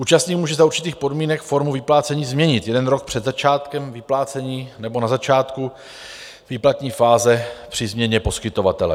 Účastník může za určitých podmínek formu vyplácení změnit jeden rok před začátkem vyplácení nebo na začátku výplatní fáze při změně poskytovatele.